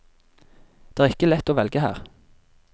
Det er ikke lett å velge her.